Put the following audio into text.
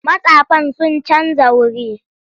Mastafan sun canja wuri.